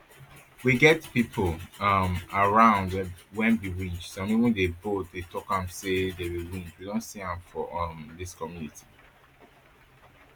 we get pipo um around wey be winch some even dey bold to say dem bin winch we don see am um for dis community